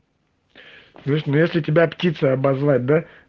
если тебя птицей обозвать